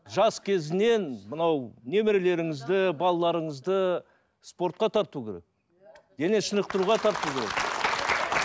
жас кезінен мынау немерелеріңізді балаларыңызды спортқа тарту керек денешынықтыруға тарту керек